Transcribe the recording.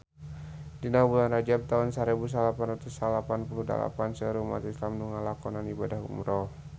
Dina bulan Rajab taun sarebu salapan ratus salapan puluh dalapan seueur umat islam nu ngalakonan ibadah umrah